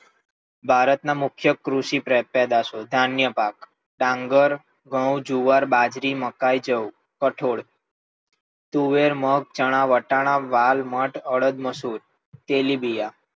ભારત ના મુખ્ય કૃષિ પેદાશો ધાન્ય પાક, ડાંગર ઘઉ, જુવાર, બાજરી, મકાઇ, જવ, કઠોળ તુવેર, મગ, ચણા, વટાણા, વાલ, મઠ, અડદ, મસૂર, તેલીબિયાં,